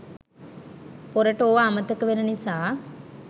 පොරට ඕවා අමතක වෙන නිසා